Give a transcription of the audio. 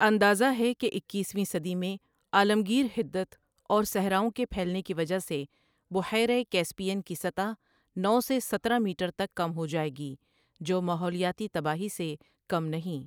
اندازہ ہے کہ اکیس ویں صدی میں عالمگیر حدت اور صحراؤں کے پھیلنے کی وجہ سے بحیرہ کیسپیئن کی سطح نو سے سترہ میٹر تک کم ہو جائے گی جو ماحولیاتی تباہی سے کم نہیں